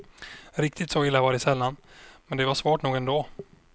Riktigt så illa var det sällan, men det var svårt nog ändå.